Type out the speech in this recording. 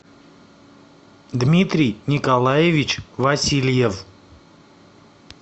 дмитрий николаевич васильев